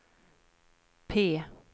P